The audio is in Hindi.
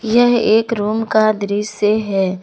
यह एक रूम का दृश्य है।